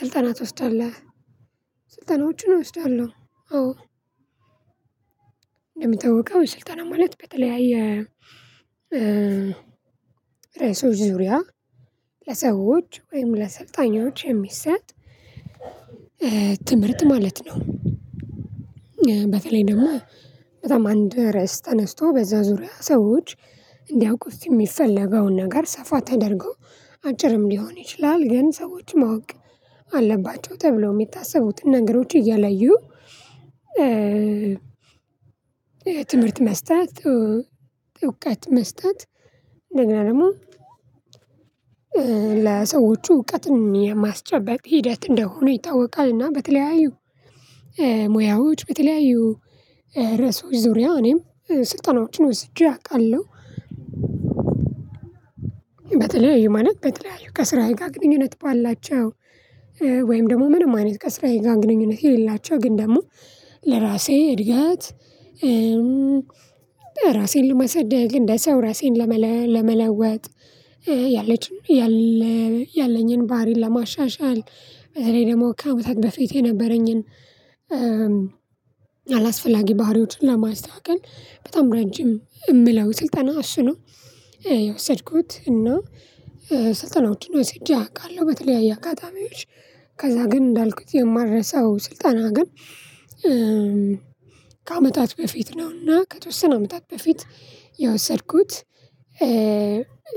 ስልጠና ትወስዳለህ ስልጠናዎቹን እወስዳለሁ አዎ። እንደሚታወቀው ስልጠና ማለት በተለያየ ራዕሶች ዙሪያ ለሰዎች ወይም ለሰልጣኞች የሚሰጥ ትምህርት ማለት ነው። በተለይ ደግሞ በጣም አንድ ርዕስ ተነስቶ በዛ ዙሪያ ሰዎች እንዲያውቁት የሚፈለገውን ነገር ሰፋ ተደርጎ አጭርም ሊሆን ይችላል ግን ሰዎችም ማወቅ አለባቸው ተብለው የሚታሰቡትን ነገሮች እየለዩ ትምህርት መስጠት እዉቀት መስጠት እንደገና ደግሞ ለሰዎች እውቀትን የማስጨበቅ ሂደት እንደሆነ ይታወቃልና በተለያዩ ሙያዎች በተለያዩ ርዕሶች ዙሪያ እኔም ስልጠናዎችን ወስጄ አውቃለሁ። በተለያዩ ማለት በተለያዩ ከስራዬ ጋር ግንኙነት ባላቸው ወይም ደግሞ ምንም አይነት ከስራዬ ጋር ግንኙነት የሌላቸው ግን ደግሞ ለራሴ እድገት ራሴን ለማሳደግ እንደ ሰው ራሴን ለመለወጥ ያለችው ያለኝን ባህሪን ለማሻሻል በተለይ ደግሞ ከአመታት በፊት የነበረኝን አላስፈላጊ ባህሪዎችን ለማስተካከል በጣም ረጅም የምለው ስልጠና እሱ ነው። የወሰድኩት እና ስልጠናዎችን ወስጄ አውቃለሁ በተለያየ አካባቢዎች ከዛ ግን እንዳልኩት የማልረሳው ስልጣና ግን ከአመታት በፊት ነውና ከተወሰነ አመታት በፊት የወሰድኩት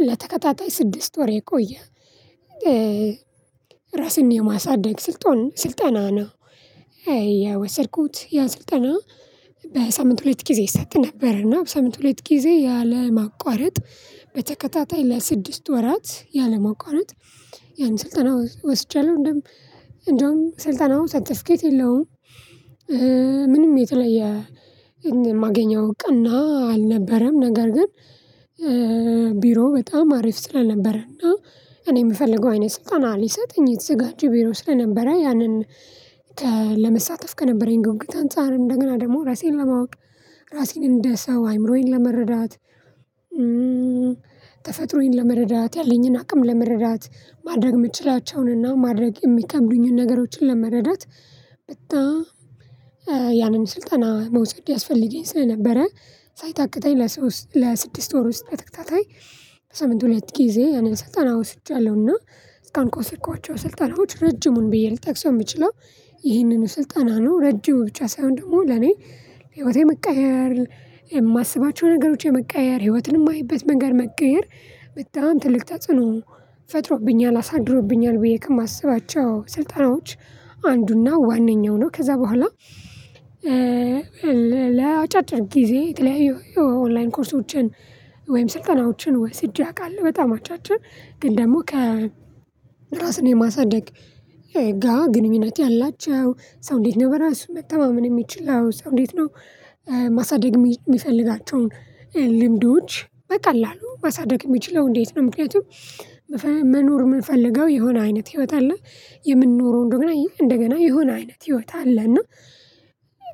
ለተከታታይ ስድስት ወር የቆየ ራስን የማሳደግ ስልጠና ነው የወሰድኩት ያ ስልጠና በሳምንት ሁለት ጊዜ ይሰጥ ነበር እና በሳምንት ሁለት ጊዜ ያለማቋረጥ በተከታታይ ለስድስት ወራት ያለማቋረጥ ያን ስልጠና ወስጃለሁ እንደውም ስልጣናው ሰርተፍኬት የለውም። ምንም የተለየ የማገኘው እውቅና እና አልነበረም ነገር ግን ቢሮ በጣም አሪፍ ስልነበረ እና እኔ የምፈልገው አይነት ስልጠን ሊሰጥኝ የተዘጋጀ ቢሮ ስለነበረ ያንን ለመሳተፍ ከነበረኝ ጉጉት አንፃር እንደገና ደግሞ ራሴን ለማወቅ ራሴን እንደ ሰው አይምሮዬን ለመረዳት ተፈጥሮዬን ለመረዳት ያለኝን አቅም ለመረዳት ማድረግ የምችላቸውንና ማድረግ የሚከብዱኝን ነገሮችን ለመረዳት በጣም ያንን ስልጠና መውሰድ ያስፈልገኝ ስለነበረ ሳይታከተኝ ለስድስት ወር ውስጥ በተከታታይ በሳምንት ሁለት ጊዜ የንን ስልጠና ወስጃለሁ። እና እስከ አሁን ከወሰድኳቸው ስልጠናዎች ረጅሙን ብዬ ልጠቅሰው የምችለው ይህንን ስልጠና ነው ረጅም ብቻ ሳይሆን ደግሞ ለኔ ህይወቴ መቀየር የማስባቸው ነገሮች የመቀየር ህይወትን የማየበት መንገድ መቀየር በጣም ትልቅ ተጽዕኖ ፈጥሮብኛል አሳድሮብኛል ብዬ ከማስባቸው ስልጠናዎች አንዱና ዋነኛው ነው። ከዛ በኋላ ለአጫጭር ጊዜ የተለያዩ ኦንላይን ኮርሶችን ወይም ስልጠናዎችን ወስጄ አውቃለሁ። በጣም አጫጭር ግን ደግሞ ከ ራስን የማሳደግ ጋር ግንኙነት ያላቸው ሰው እንዴት ነው በራሱ መተማመን የሚችለው ሰው እንዴት ነው ማሳደግ የሚፈልጋቸውን ልምዶች በቀላሉ ማሳደግ የሚችለው እንዴት ነው? ምክንያቱም መኖር የምንፈልገው የሆነ አይነት ህይወት አለ የምንኖረው እንደገና እንደገና የሆነ አይነት ህይወት አለ እና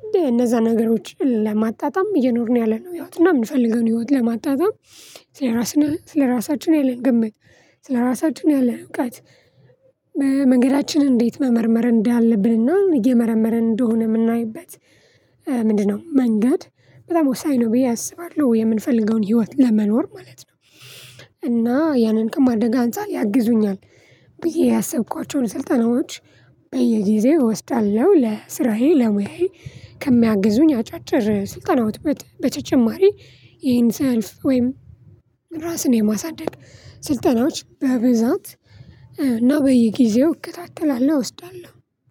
እንደነዛ ነገሮችን ለማጣጣም እየኖርን ያለነው ህይወትና የምንፈልገውን ህይወት ለማጣጣም ስለራስን ስለራሳችን ያለን ግምት ስለራሳችሁ ያለን እውቀት መንገዳችንን እንዴት መመርመር እንዳለብንና እየመረመርን እንደሆነ የምናይበት ምንድነው መንገድ በጣም ወሳኝ ነው። ብዬ አስባለሁ የምንፈልገውን ህይወት ለመኖር ማለት ነው። እና ያንን ከማድረግ አንፃር ያግዙኛል ብዬ ያሰብኳቸውን ስልጠናዎች በየጊዜው እወስዳለሁ። ለስራዬ ለሙያዬ ከሚያግዙኝ አጫጭር ስልጠናዎች በተጨማሪ ይሄን ስልፍ ወይም ራስን የማሳደግ ስልጠናዎች በብዛት እና በየጊዜው እከታተላለሁ እወስዳለሁ።